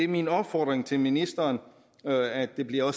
min opfordring til ministeren er at det bliver